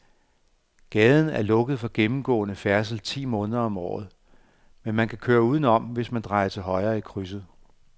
Gaden er lukket for gennemgående færdsel ti måneder om året, men man kan køre udenom, hvis man drejer til højre i krydset.